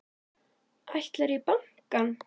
Ætlarðu í bankann?